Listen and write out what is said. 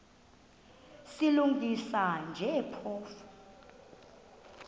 silungisa nje phofu